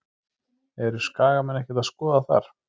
Eru Skagamenn ekkert að skoða þar?